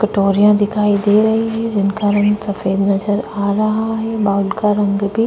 कटोरिया दिखाई दे रही है जिनका रंग सफेद नजर आ रहा है बाउल का रंग भी --